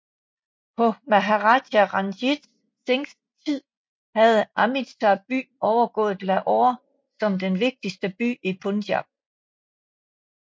På Maharaja Ranjit Singhs tid havde Amritsar by overgået Lahore som den vigtigste by i Punjab